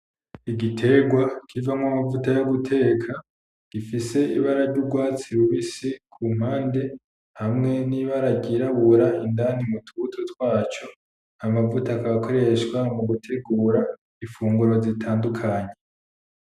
Igiterwa kivamwo amavuta yo guteka gifise ibara ryugwatsi rubisi kumpande hamwe nibara ryirabura indani mutubuto twaco , amavuta akaba akoreshwa mugutegura imfunguro zitandukanye